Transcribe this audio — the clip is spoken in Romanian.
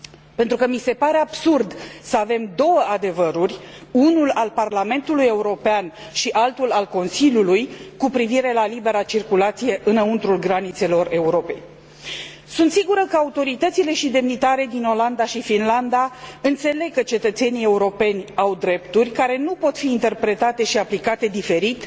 Pentru că mi se pare absurd să avem două adevăruri, unul al Parlamentului European și altul al Consiliului, cu privire la libera circulație înăuntrul granițelor Europei. Sunt sigură că autoritățile și demnitarii din Olanda și Finlanda înțeleg că cetățenii europeni au drepturi care nu pot fi interpretate și aplicate diferit,